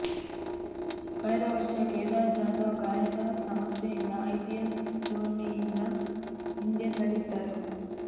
ಕಳೆದ ವರ್ಷ ಕೇದಾರ್ ಜಾಧವ್ ಗಾಯದ ಸಮಸ್ಯೆಯಿಂದ ಐಪಿಎಲ್ ಟೂರ್ನಿಯಿಂದ ಹಿಂದೆ ಸರಿದಿದ್ದರು